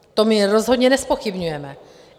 To my rozhodně nezpochybňujeme.